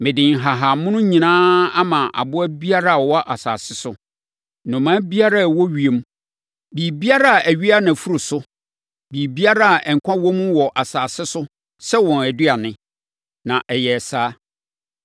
Mede nhahammono nyinaa ama aboa biara a ɔwɔ asase so, anomaa biara a ɔwɔ ewiem, biribiara a ɛwea nʼafuru so, biribiara a nkwa wɔ mu wɔ asase so sɛ wɔn aduane.” Na ɛyɛɛ saa.